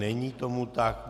Není tomu tak.